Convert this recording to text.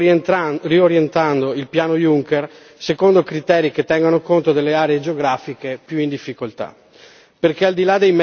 ad esempio, riorientando il Piano Juncker secondo criteri che tengano conto delle aree geografiche più in difficoltà.